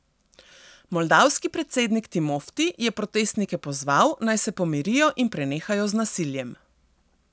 Moldavski predsednik Timofti je protestnike pozval, naj se pomirijo in prenehajo z nasiljem.